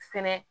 Fɛnɛ